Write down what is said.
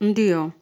Ndiyo,